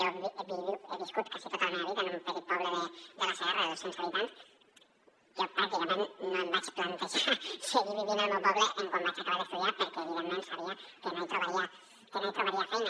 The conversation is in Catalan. jo he viscut quasi tota la meva vida en un petit poble de la segarra de dos cents habitants jo pràcticament no em vaig plantejar seguir vivint al meu poble quan vaig acabar d’estudiar perquè evidentment sabia que no hi trobaria feina